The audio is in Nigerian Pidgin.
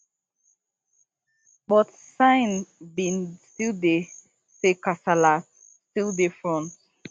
but sign bin still dey say kasala still dey front